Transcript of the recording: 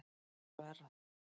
Ég sver það.